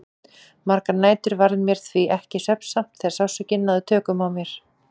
Margar nætur varð mér því ekki svefnsamt þegar sársaukinn náði tökum á mér.